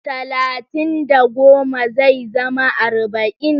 Talatin da goma zai zama arba'in.